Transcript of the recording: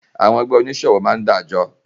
Àwọn ẹgbẹ́ oníṣòwò máá ń dájọ